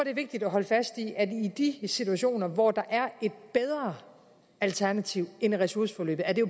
er vigtigt at holde fast i at i de situationer hvor der er et bedre alternativ end ressourceforløbet er det